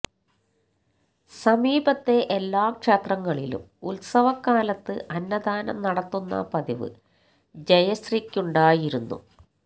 സമീപത്തെ എല്ലാ ക്ഷേത്രങ്ങളിലും ഉത്സവകാലത്ത് അന്നദാനം നടത്തുന്ന പതിവ് ജയശ്രീക്കുണ്ടായിരുന്നു